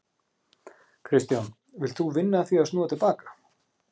Kristján: Vilt þú vinna að því að snúa til baka?